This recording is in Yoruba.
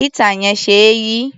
Éétà yẹn ṣe é yí.